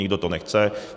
Nikdo to nechce.